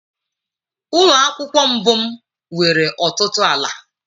Ụlọ akwụkwọ mbụ m nwere ọtụtụ ala.